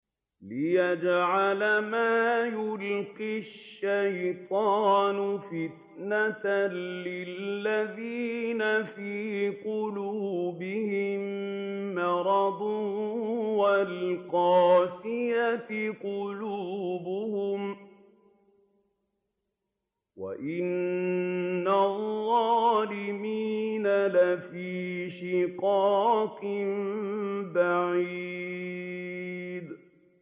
لِّيَجْعَلَ مَا يُلْقِي الشَّيْطَانُ فِتْنَةً لِّلَّذِينَ فِي قُلُوبِهِم مَّرَضٌ وَالْقَاسِيَةِ قُلُوبُهُمْ ۗ وَإِنَّ الظَّالِمِينَ لَفِي شِقَاقٍ بَعِيدٍ